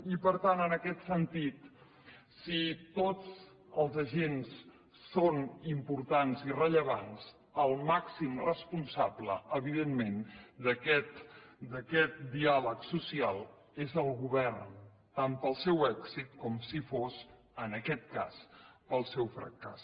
i per tant en aquest sentit si tots els agents són importants i rellevants el màxim responsable evidentment d’aquest diàleg social és el govern tant pel seu èxit com si fos en aquest cas pel seu fracàs